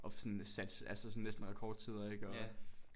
Og sådan satte altså sådan næsten rekordtider ik og